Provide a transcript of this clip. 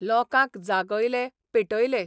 लोकांक जागयले पेटयले.